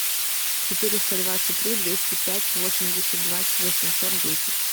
четыреста двадцать три двести пять восемьдесят два восемьсот десять